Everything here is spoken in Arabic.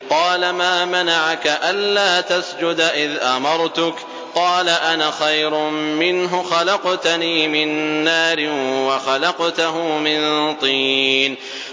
قَالَ مَا مَنَعَكَ أَلَّا تَسْجُدَ إِذْ أَمَرْتُكَ ۖ قَالَ أَنَا خَيْرٌ مِّنْهُ خَلَقْتَنِي مِن نَّارٍ وَخَلَقْتَهُ مِن طِينٍ